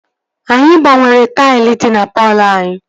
Anyị gbanwere taịl dị na palọ anyị